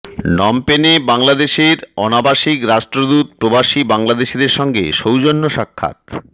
নমপেনে বাংলাদেশের অনাবাসিক রাষ্ট্রদূত প্রবাসী বাংলাদেশিদের সঙ্গে সৌজন্য সাক্ষাৎ